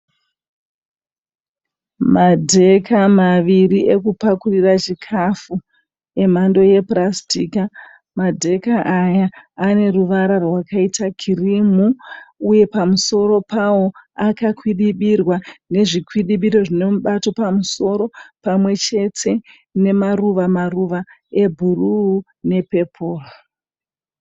Madheka maviri ekupakurira chikafu emhando yepurasitika. Madheka aya aneruvara rwakaita kirimu. Uye pamusoro pawo akakwidibirwa nezvikwidibiro zvine mubato pamusoro, pamwechete nemaruva maruva ebhuruu nepeporo.